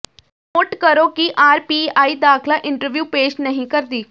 note ਕਰੋ ਕਿ RPI ਦਾਖਲਾ ਇੰਟਰਵਿਊ ਪੇਸ਼ ਨਹੀਂ ਕਰਦੀ